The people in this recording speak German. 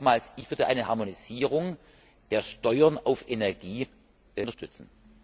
Aber nochmals Ich würde eine Harmonisierung der Steuern auf Energie unterstützen.